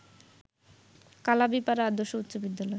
কালাবিপাড়া আদর্শ উচ্চ বিদ্যালয়